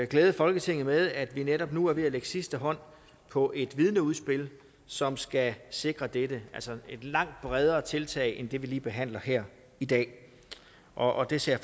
glæde folketinget med at vi netop nu er ved at lægge sidste hånd på et vidneudspil som skal sikre dette det altså et langt bredere tiltag end det vi lige behandler her i dag og det ser